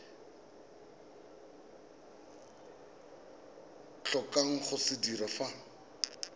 tlhokang go se dira fa